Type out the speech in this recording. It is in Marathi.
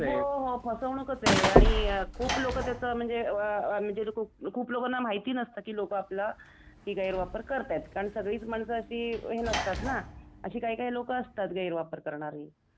हो हो फसवणूकच आहे आणि खूप लोकं त्याचा म्हणजे अ अ खुप लोकांना माहिती नसतं कि लोकं आपला गैर वापर करतात कारण सगळी माणसं अशी नसतात ना अशी काही काही लोकं असतात गैरवापर करणारी .